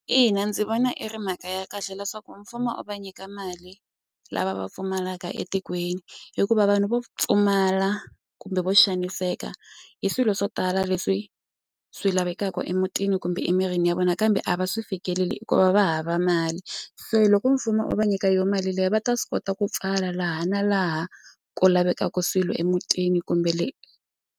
Ina ndzi vona i ri mhaka ya kahle leswaku mfumo u va nyika mali lava va pfumalaka etikweni hikuva vanhu vo pfumala kumbe vo xaniseka hi swilo swo tala leswi swi lavaka vekaka emutini kumbe emirini ya vona kambe a va swi fikeleli hikuva va hava mali se loko mfumo wu va nyika yo mali liya va ta swi kota ku pfala laha na laha ko lavekaka swilo emutini kumbe le.